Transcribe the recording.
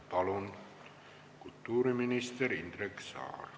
Palun, kultuuriminister Indrek Saar!